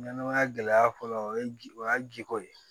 Ɲɛnɛmaya gɛlɛya fɔlɔ o ye ji o y'a jiko ye